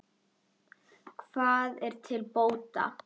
Hvað er til bóta?